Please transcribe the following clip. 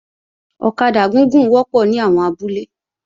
Ọ̀kadà gúgùn wọ́pọ̀ ní àwọn abúlé